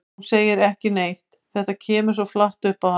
Hún segir ekki neitt, þetta kemur svo flatt upp á hana.